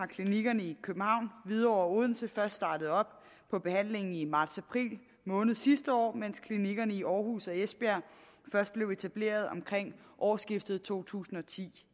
klinikkerne i københavn hvidovre og odense først startet op på behandlingen i martsapril måned sidste år mens klinikkerne i aarhus og esbjerg først blev etableret omkring årsskiftet to tusind og ti